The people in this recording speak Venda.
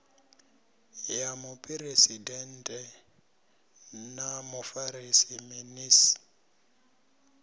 ya muphuresidennde na mufarisa minis